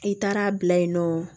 I taara bila yen nɔ